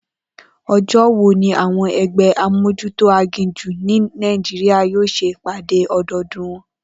O̩jó̩ wo ni àwo̩n e̩gbé̩ amójútó aginjù ní Nàìjíríà yóò s̩e ìpàdé o̩do̩o̩dún wo̩n?